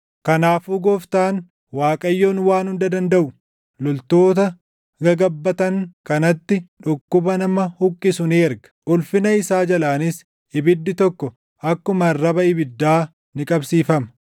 Kanaafuu Gooftaan, Waaqayyoon Waan Hunda Dandaʼu, loltoota gagabbatan kanatti dhukkuba nama huqqisu ni erga; ulfina isaa jalaanis ibiddi tokko akkuma arraba ibiddaa ni qabsiifama.